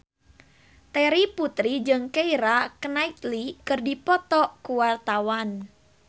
Terry Putri jeung Keira Knightley keur dipoto ku wartawan